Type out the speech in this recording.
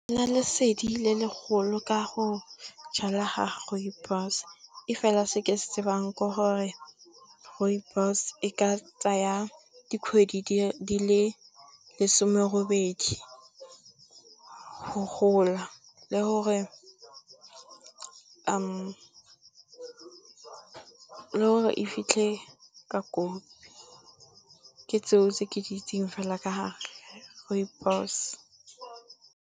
Nna lesedi le legolo ka go jala ga Rooibos ke gore Rooibos e ka tsaya dikgwedi di le lesome robedi go gola le gore e fitlhe ka kopi ke tseo tse ke di itseng fela ka Rooibos.